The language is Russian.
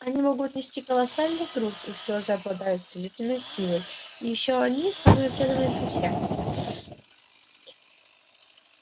они могут нести колоссальный груз их слёзы обладают целительной силой и ещё они самые преданные друзья